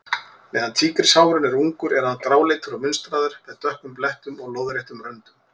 Meðan tígrisháfurinn er ungur er hann gráleitur og munstraður, með dökkum blettum og lóðréttum röndum.